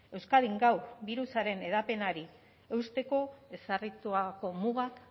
euskadin gaur birusaren hedapenari eusteko ezarritako mugak